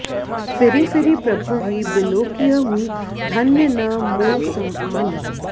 free फिरि प्रभुहि बिलोकिहउँ धन्य न मो सम आन